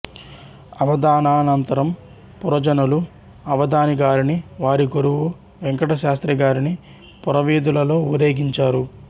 అవధానానంతరం పురజనులు అవధాని గారిని వారి గురువు వేంకటశాస్త్రి గారిని పురవీధులలో ఊరేగించారు